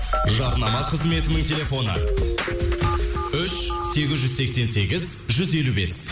жарнама қызметінің телефоны үш сегіз жүз сексен сегіз жүз елу бес